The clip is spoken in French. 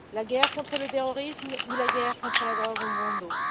La guerre contre le terrorisme et la guerre contre la drogue ont bon dos.